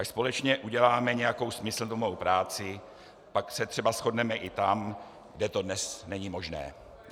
Až společně uděláme nějakou smysluplnou práci, pak se třeba shodneme i tam, kde to dnes není možné.